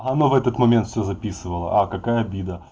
анна в этот момент все записывала а какая обида